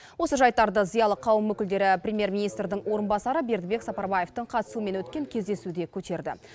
осы жайттарды зиялы қауым өкілдері премьер министрдің орынбасары бердібек сапарбаевтың қатысуымен өткен кездесуде көтерді